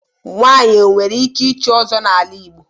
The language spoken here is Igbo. Nwanyị o nwere ike ịchị Ọzọ n'ala Igbo.